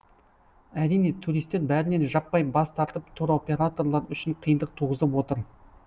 әрине туристер бәрінен жаппай бас тартып туроператорлар үшін қиындық туғызып отыр